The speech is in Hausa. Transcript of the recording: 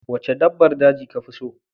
Wacce dabbar daji kafi so?